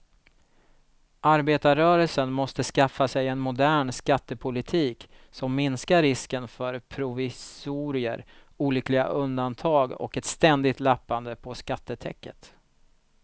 Arbetarrörelsen måste skaffa sig en modern skattepolitik som minskar risken för provisorier, olyckliga undantag och ett ständigt lappande på skattetäcket.